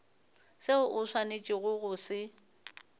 seo o swanetšego go se